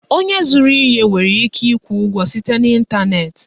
Onye zụrụ ihe nwere ike ịkwụ ụgwọ site n'Ịntanet